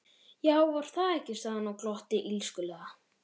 Já, var það ekki, sagði hann og glotti illskulega.